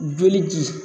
Joli di